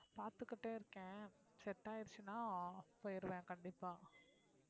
பார்த்துக்கிட்டே இருக்கேன் set ஆயிடுச்சுன்னா போயிருவேன் கண்டிப்பா